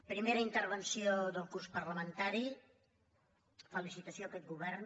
primera intervenció del curs parlamentari felicitació a aquest govern